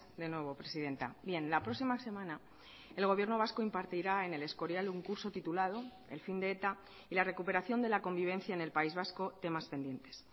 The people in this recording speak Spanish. de nuevo presidenta bien la próxima semana el gobierno vasco impartirá en el escorial un curso titulado el fin de eta y la recuperación de la convivencia en el país vasco temas pendientes